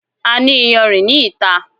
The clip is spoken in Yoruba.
A ní iyanrìn ní ìta